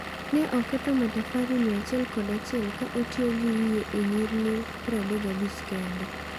Ne oketho matafari 111 ka otiyo gi wiye e nyirni 35 kende.